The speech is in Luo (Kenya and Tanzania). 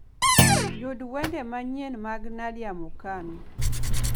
Yug wende manyien mag nadia mukami